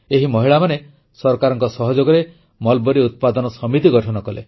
ଏହି ମହିଳାମାନେ ସରକାରଙ୍କ ସହଯୋଗରେ ମଲବରୀ ଉତ୍ପାଦନ ସମିତି ଗଠନ କଲେ